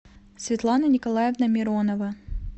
светлана николаевна миронова